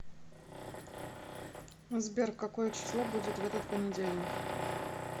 сбер какое число будет в этот понедельник